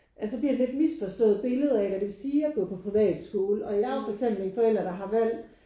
At så bliver det lidt misforstået billede af hvad det vil sige at gå på privatskole og jeg er jo for eksempel en forældre der har valgt